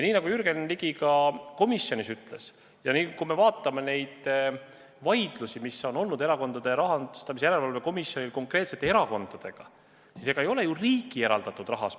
Nagu Jürgen Ligi ka komisjonis ütles: kui me vaatame neid vaidlusi, mis Erakondade Rahastamise Järelevalve Komisjonil on olnud konkreetsete erakondadega, siis ega ei ole ju probleem riigi eraldatud rahas.